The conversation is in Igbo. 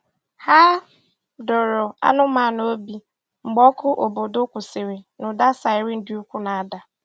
Hà dọ̀ọrọ anụ́manụ obi mgbe ọkụ̀ obodo kwụsịrị̀ na ụda siren dị ukwuù na-ada.